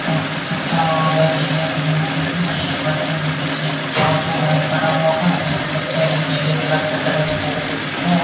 और कुछ अपना वो अलग रही है एक बच्चे के पीछे पोटिया बैग पड़ा होगा एक बच्चे के नीले कलर की ड्रेस पहन रखी है।